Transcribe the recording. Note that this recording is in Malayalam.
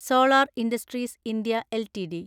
solar industries India LTD